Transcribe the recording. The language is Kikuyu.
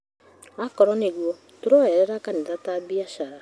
Akorwo nĩguo, tũroyerera kanitha ta biacara